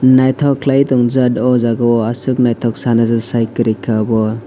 naitok kelai tongjak o jaga o asok naitok sana si koroi ka obo.